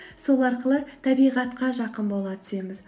сол арқылы табиғатқа жақын бола түсеміз